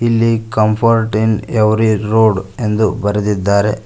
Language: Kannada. ಇಲ್ಲಿ ಕಂಫರ್ಟ್ ಇನ್ ಎವ್ರಿ ರೋಡ್ ಎಂದು ಬರೆದಿದ್ದಾರೆ.